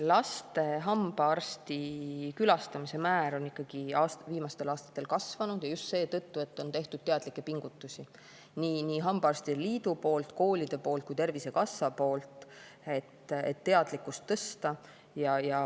Laste hambaarsti külastamise määr on viimastel aastatel kasvanud ja just seetõttu, et on tehtud teadlikke pingutusi nii hambaarstide liidu poolt, koolide poolt kui ka Tervisekassa poolt, et teadlikkust tõsta.